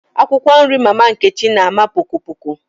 Akwụkwọ nri mama Nkechi na àmà poko poko